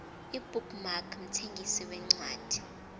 ibook mark mthengisi wencwadi